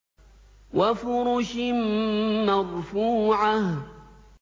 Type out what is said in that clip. وَفُرُشٍ مَّرْفُوعَةٍ